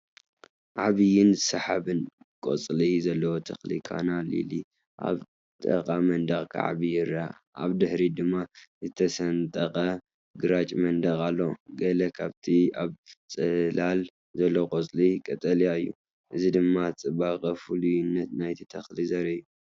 ዓበይትን ሰሓብትን ቆጽሊ ዘለዎ ተኽሊ ካና ሊሊ ኣብ ጥቓ መንደቕ ክዓቢ ይርአ። ኣብ ድሕሪት ድማ ዝተሰነጠቐ ግራጭ መንደቕ ኣለዎ። ገለ ካብቲ ኣብ ጽላል ዘሎ ቆጽሊ ቀጠልያ እዩ። እዚ ድማ ጽባቐን ፍሉይነትን ናይቲ ተኽሊ ዘርኢ እዩ።